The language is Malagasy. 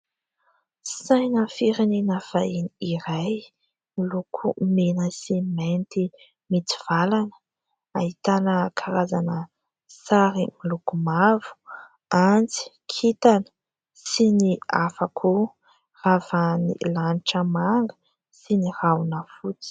Saina firenena vahiny iray miloko mena sy mainty mitsivalana, Ahitana karazana sary miloko mavo, antsy, kintana sy ny hafa koa, Ravahan'ny lanitra manga sy ny rahona fotsy.